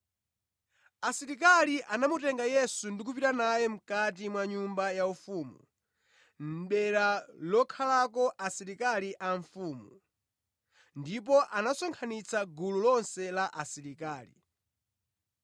Asilikali anamutenga Yesu ndi kupita naye mʼkati mwa nyumba yaufumu (dera lokhalako asilikali a mfumu) ndipo anasonkhanitsa gulu lonse la asilikali.